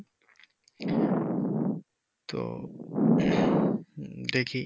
তো দেখি।